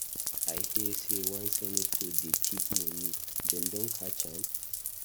I hear say one senator dey thief money, dem don catch am?